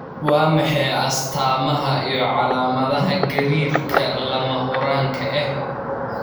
Waa maxay calaamadaha iyo calaamadaha gariirka lama huraanka ah?